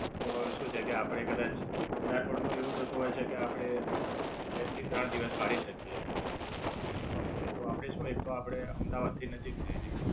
એક શું છે કે આપડે કદાચ વધારે પડતું એવું થતું હોય છે કે આપડે બે થી ત્રણ દિવસ કાઢી શકીયે એમ. અમ ફરવા માટે આપડે શું એક તો આપડે અમદાવાદ થી નજીક છે એ જગ્યા